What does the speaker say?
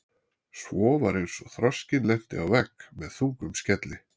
Svo var eins og þroskinn lenti á vegg með þungum skelli.